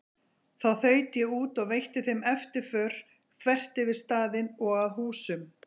Þá þaut ég út og veitti þeim eftirför þvert yfir staðinn og að húsum